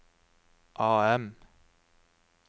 AM